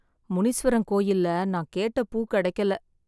முனீஸ்வரன் கோயில்ல நான் கேட்ட பூ கிடைக்கல.